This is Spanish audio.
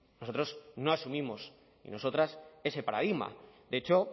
nosotros no asumimos y nosotras ese paradigma de hecho